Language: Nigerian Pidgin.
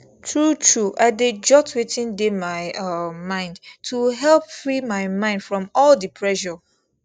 truetrue i dey jot wetin dey my um mind to help free my mind from all the pressure